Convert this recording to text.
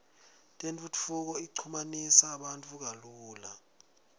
tentfutfuko ichumanisa bantfu kalula